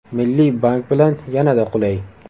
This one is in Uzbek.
Milliy bank bilan yanada qulay!!!